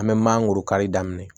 An bɛ manankoro kari daminɛ